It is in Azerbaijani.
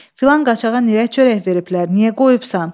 Filan qaçağa nirə çörək veriblər, niyə qoyubsan?